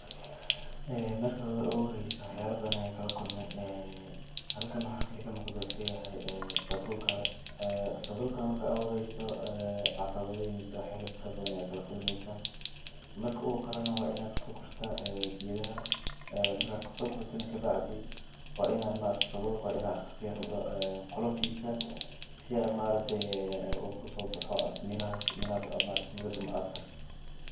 Ee marki oguhoreysee wax yalaa bathan ayan kala kulmee, ee halkan waxaa iga muqdo wuxuu yahay sabulkaa, ee sabulkana marki u horeyso ee caqabadhoyin mase wax fara bathan aya kala kulmeysaa, marku karana waa ini kaso gurtaa gedahaa, marka kasogurtana kabacdii, waina maaragtee sawulka fiiiqdo qoloftisa, si aa maaragtee u usobaxoo mirahaas marki daanbee aad karsato.